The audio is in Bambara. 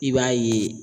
I b'a ye